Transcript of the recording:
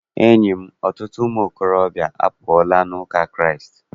Enyi m, ọtụtụ ụmụ ntorobịa apụọla n'ụka Kraịst.